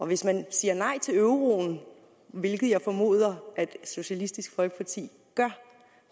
hvis man siger nej til euroen hvilket jeg formoder socialistisk folkeparti gør